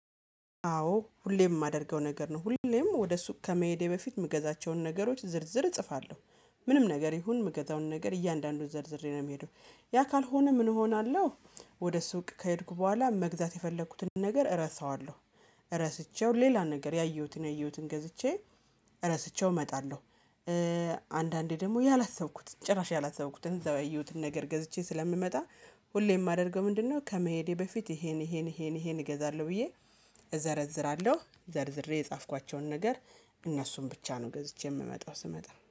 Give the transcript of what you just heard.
አዎ ሁሌም የማደርገው ነገር ነው ሁሌም ወደ ሱቅ ከመሄዴ በፊት የምገዛቸውን ነገሮች ዝርዝር እጽፋለሁ። ምንም ነገር ይሁን መገዛውን ነገር እያንዳንዱን ዘርዝሬ ነው የሚሄደው ያ ካልሆነ ምን እሆናለሁ? ወደ ሱቅ ከሄድኩ በኋላ መግዛት የፈለኩትን ነገር እረሳዋለሁ። ረስቸው ሌላ ነገር ያየሁትን ያየሁትን ገዝቼ ረስቸው እመጣለሁ። አንዳንዴ ደግሞ ያላሰብኩትን ጭራሽ ያላሰብኩትን እዛው ያየሁትን ነገር ገዝቼ ስለምመጣ። ሁሌም የማደርገው ምንድነው? ከመሄዴ በፊት ይሄን ይሄን ይሄን ይሄን እገዛለሁ ብዬ። እዘረዝራለሁ ዘርዝሬ የጻፍኳቸውን ነገር እነሱን ብቻ ነው ገዝቼ የምመጣው ስመጣ